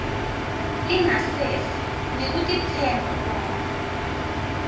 lingasese nekutetsemba kwakho